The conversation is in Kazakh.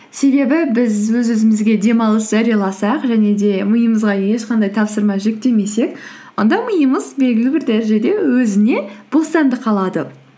себебі біз өз өзімізге демалыс жарияласақ және де миымызға ешқандай тапсырма жүктемесек онда миымыз белгілі бір дәрежеде өзіне бостандық алады